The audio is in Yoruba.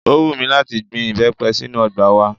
Ó wùn mí láti gbin ìbẹ́pẹ sínú ọgbà wa